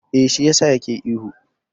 Eh, shi yasa ya ke ihu.